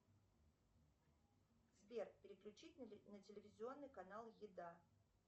сбер переключить на телевизионный канал еда